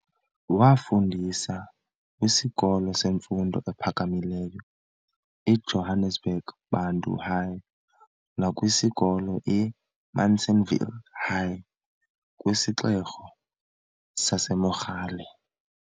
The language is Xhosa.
Waafundisa kwisikolo semfundo ephakamileyo i"Johannesburg Bantu High" nakwisikolo i"Munsienville High" kwisixeko saseMogale.